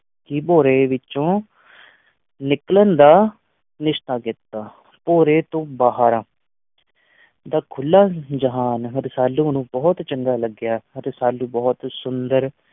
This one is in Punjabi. ਹੀ ਭੋਰੇ ਵਿੱਚੋਂ ਨਿਕਲਨ ਦਾ ਨਿਸ਼ਚਾ ਕੀਤਾ, ਭੋਰੇ ਤੋਂ ਬਾਹਰ ਦਾ ਖੁੱਲ੍ਹਾ ਜਹਾਨ ਰਸਾਲੂ ਨੂੰ ਬਹੁਤ ਚੰਗਾ ਲੱਗਿਆ, ਰਸਾਲੂ ਬਹੁਤ ਸੁੰਦਰ